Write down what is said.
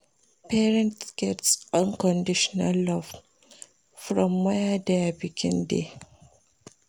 Parents de get unconditional love for where their pikin de